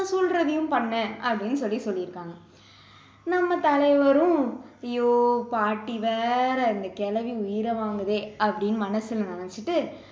சொல்றதையும் பண்ணு அப்படின்னு சொல்லி சொல்லிருக்காங்க நம்ம தலைவரும் அய்யோ பாட்டி வேற இந்த கிழவி உயிரை வாங்குதே அப்படின்னு மனசுல நினைச்சிட்டு